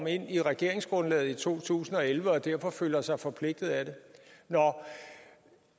ind i regeringsgrundlaget i to tusind og elleve og derfor føler sig forpligtet af det